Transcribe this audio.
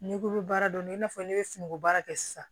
N'i ko bɛ baara dɔn ni nafa ye ne bɛ sunɔgɔbaara kɛ sisan